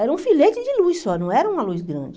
Era um filete de luz só, não era uma luz grande.